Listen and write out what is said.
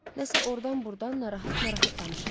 Nəsə ordan-burdan narahat-narahat danışırdı.